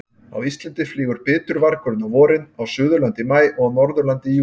Á Íslandi flýgur bitvargurinn á vorin, á Suðurlandi í maí og á Norðurlandi í júníbyrjun.